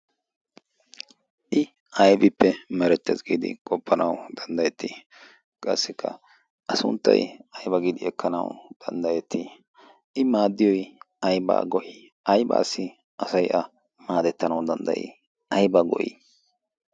i aybippe marettees giidi qoppanawu danddayettii qaassikka a sunttay ayba giidi ekkanawu danddayettii i maaddiyoy ayba goyii aybaassi asaiy a maadettanawu danddayii ayba go'ii